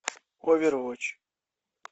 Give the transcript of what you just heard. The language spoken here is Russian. овервотч